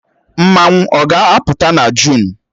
Mmanwụ ọ ga-apụta na Jụn?